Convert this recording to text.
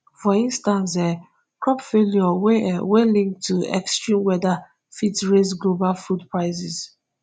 for instance um crop failure wey wey link to extreme weather fit raise global food prices